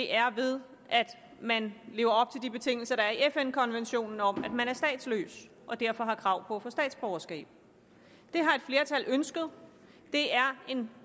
er ved at man lever op til de betingelser der er i fn konventionen om at man er statsløs og derfor har krav på at få statsborgerskab det har et flertal ønsket det er en